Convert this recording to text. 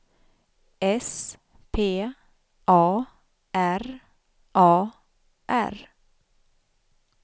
S P A R A R